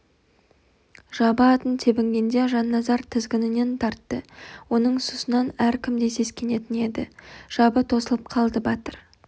жабы атын тебінгенде жанназар тізгінінен тартты оның сұсынан әркім де сескенетін еді жабы тосылып қалды батыр